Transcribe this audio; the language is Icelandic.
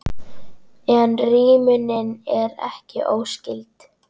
En rímunin er ekki óskyld.